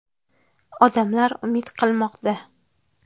Odamlar umid qilmoqda.